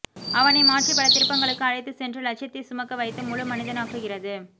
அவனை மாற்றி பல திருப்பங்களுக்கு அழைத்துச் சென்று லட்சியத்தை சுமக்க வைத்து முழு மனிதனாக்குகிறது